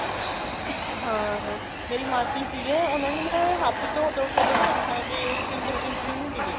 ਹਾਂ ਮੇਰੀ ਮਾਸੀ ਸੀਗੇ ਉਹਨਾ ਨੇ ਨਾ ਹੱਥ ਧੋਹ ਧੋਹ ਕੇ ਉਹਨਾ ਦੇ ਹੱਥਾਂ ਦੇ finger print ਵੀ ਮਿੱਟ ਗਏ